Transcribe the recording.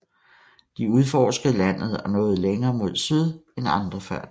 De udforskede landet og nåede længere mod syd end andre før dem